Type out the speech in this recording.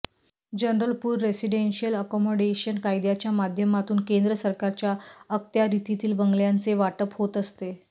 general pool residential accommodation कायद्याच्या माध्यमातून केंद्र सरकारच्या अखत्यारितील बंगल्यांचे वाटप होत असते